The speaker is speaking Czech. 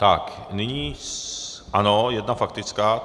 Tak nyní, ano, jedna faktická.